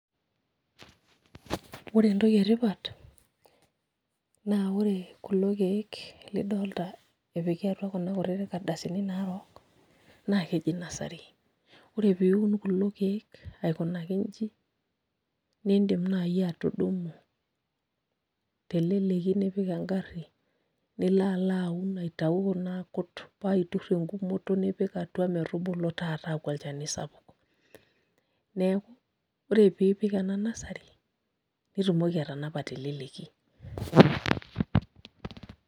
Ore entoki etipat naa ore kulo keek lidolita epiki atua kuna kardasini naarook naa keji nursery ore piiun kulo keek aikunaki inji niidim naai atudumu teleleki nipik engarri nilo alo aun aitayu kuna aakut paa aiturr enkumoto nipik atua metubulu taata aaku olchani sapuk, neeku ore piipik ena nursery nitumoki atanapa teleleki.